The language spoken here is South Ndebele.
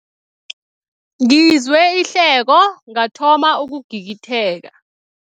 Ngizwe ihleko ngathoma ukugigitheka.